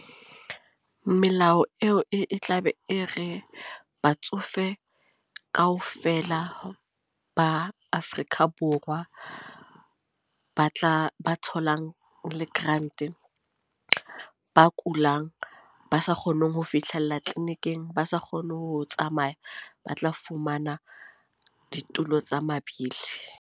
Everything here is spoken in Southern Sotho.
Melao eo e tla be e re batsofe, kaofela ba Afrika Borwa. Ba tla ba tholang re le grant, ba kulang, ba sa kgoneng ho fihlella clinic-eng ba sa kgone ho tsamaya. Ba tla fumana ditulo tsa mabili.